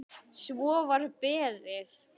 Svo var beðið.